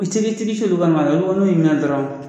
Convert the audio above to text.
n'u y'i minɛ dɔrɔn.